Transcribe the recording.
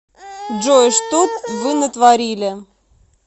джой что вы натворили